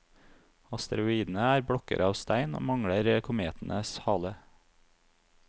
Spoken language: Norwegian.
Asteroidene er blokker av stein, og mangler kometenes hale.